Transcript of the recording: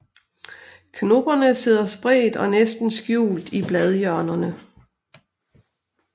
Knopperne sidder spredt og næsten skjult i bladhjørnerne